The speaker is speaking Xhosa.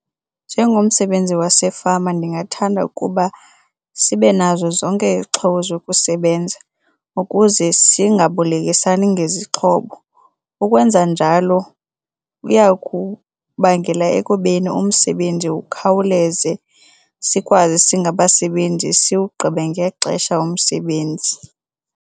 Njengomsebenzi wasefama ndingathanda ukuba sibe nazo zonke izixhobo zokusebenza ukuze singabolekisani ngezixhobo, ukwenza njalo uyakubangela ekubeni umsebenzi ukhawuleze sikwazi singabasebenzi sowugqibe ngexesha umsebenzi.